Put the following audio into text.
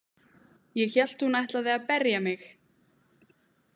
Ég hélt hún ætlaði að berja mig.